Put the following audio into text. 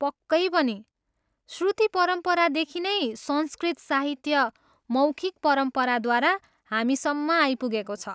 पक्कै पनि! श्रुति परम्परादेखि नै संस्कृत साहित्य मौखिक परम्पराद्वारा हामीसम्म आइपुगेको छ।